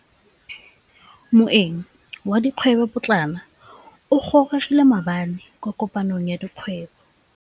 Moêng wa dikgwêbô pôtlana o gorogile maabane kwa kopanong ya dikgwêbô.